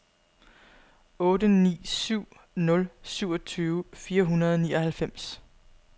otte ni syv nul syvogtyve fire hundrede og nioghalvfems